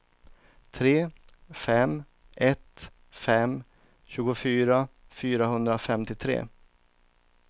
tre fem ett fem tjugofyra fyrahundrafemtiotre